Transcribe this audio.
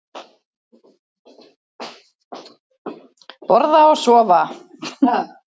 Borða og sofa.